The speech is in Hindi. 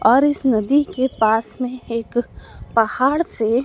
और इस नदी के पास में एक पहाड़ से--